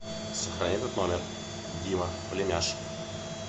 сохрани этот номер дима племяш